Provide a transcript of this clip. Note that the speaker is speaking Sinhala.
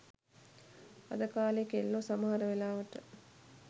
අද කාලේ කෙල්ලෝ සමහර වෙලාවට